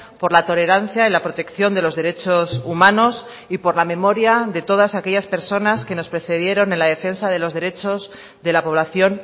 por la tolerancia y la protección de los derechos humanos y por la memoria de todas aquellas personas que nos precedieron en la defensa de los derechos de la población